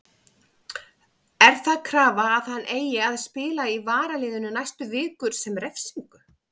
Er það krafa að hann eigi að spila í varaliðinu næstu vikur sem refsingu?